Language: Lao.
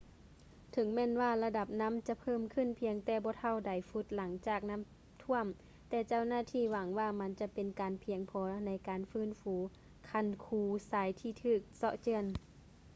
ເຖິງແມ່ນວ່າລະດັບນໍ້າຈະເພີ່ມຂຶ້ນພຽງແຕ່ບໍ່ເທົ່າໃດຟຸດຫຼັງຈາກນໍ້າຖ້ວມ ແຕ່ເຈົ້າໜ້າທີ່ຫວັງວ່າມັນຈະເປັນການພຽງພໍໃນການຟື້ນຟູຄັນຄູຊາຍທີ່ຖືກເຊາະເຈື່ອນ